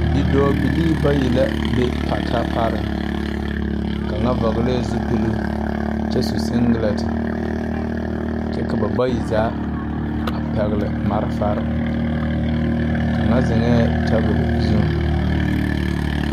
Bidɔɔbilii bayi la be pata pare kaŋa vɔglɛɛ zupiluu kyɛ su sengilɛnte nyu ka ba bayi zaa a pɛgle malfarre kaŋa zeŋɛɛ tabol zuŋ.